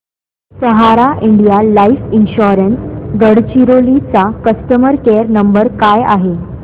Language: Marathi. सहारा इंडिया लाइफ इन्शुरंस गडचिरोली चा कस्टमर केअर नंबर काय आहे